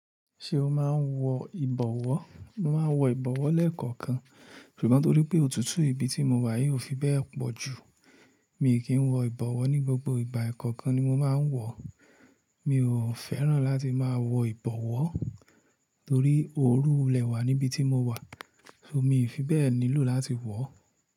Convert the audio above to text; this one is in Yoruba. Ṣé o máa ń wọ ìbọwọ́? Mo máa ń wọ ìbọwọ́ lẹ́ẹ̀kọ̀okan, ṣùgbọ́n torí pé òtútù ibi tí mo wà yii o fi bẹ́ẹ̀ pọ̀ jù, mi i kì n wọ ìbọwọ́ ní gbogbo ìgbà. Ẹ̀kọ̀okan ni mo máa ń wọ o. Mi ò fẹ́ràn láti máa wọ ìbọwọ́ torí ooru wulẹ̀ wà níbi tí mo wà, so mi i fi bẹ́ẹ̀ nílò láti wọ̀ o?